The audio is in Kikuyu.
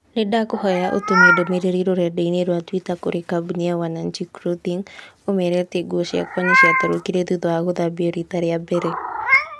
Nĩndakũhoya ũtũme ndũmĩrĩri rũrenda-inī rũa tũita kũrĩ kambuni ya wananchi clothing ũmeere atĩ nguo ciakwa nĩciatarũkire thutha wa gũthambio riita rĩa mbere.